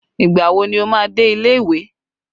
Ìgbà wo ni ó máa dé ilé ìwé